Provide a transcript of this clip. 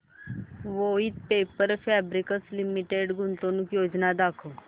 Voith paper fabrics limited गुंतवणूक योजना दाखव